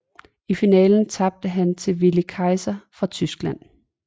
I finalen tabte han til Willi Kaiser fra Tyskland